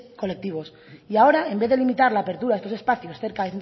colectivos y ahora en vez de limitar la apertura de estos espacios cerca